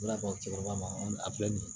Ala kɔ cɛkɔrɔba a filɛ nin ye